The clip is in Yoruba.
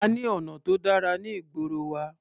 A ní ọ̀nà tó dára ní ìgboro wa.